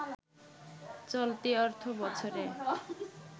চলতি অর্থবছরে